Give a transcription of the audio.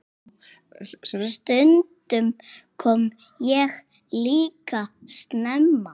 Stundum kom ég líka snemma.